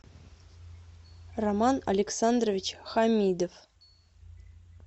роман александрович хамидов